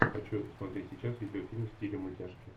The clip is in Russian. хочу смотреть сейчас видеофильм в стиле мультяшки